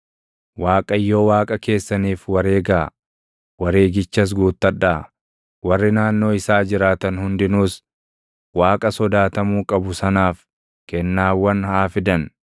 Waaqayyo Waaqa keessaniif wareegaa; wareegichas guuttadhaa; warri naannoo isaa jiraatan hundinuus Waaqa sodaatamuu qabu sanaaf kennaawwan haa fidan.